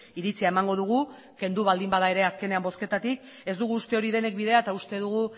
iritzia emango dugu kendu baldin bada ere azkenean bozketatik ez dugu uste hori denik bidea eta uste dugu